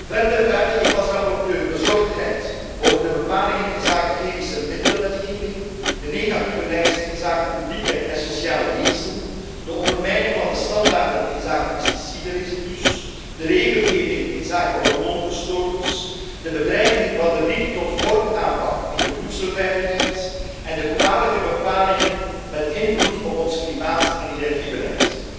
Verder uitte ik als rapporteur bezorgdheid over de bepalingen inzake chemischemiddelenwetgeving, de negatieve lijst inzake publieke en sociale diensten, de ondermijning van de standaarden inzake pesticidenresidus, de regelgeving inzake hormoonverstoorders, de bedreiging van de riek tot vorkaanpak in de voedselveiligheid en de kwalijke bepalingen met invloed op ons klimaat en energiebeleid.